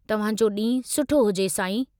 तव्हांजो ॾींहुं सुठो हुजे, साईं।